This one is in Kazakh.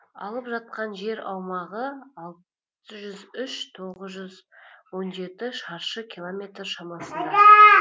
алып жатқан жер аумағы алты жүз үш тоғыз жүз он жеті шаршы километр шамасында